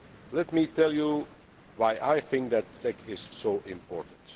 Let me tell you why I think the TEC is so important.